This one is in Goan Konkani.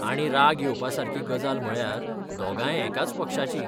आणि राग येवपासारकी गजाल म्हळ्यार दोगांय एकाच पक्षाचीं.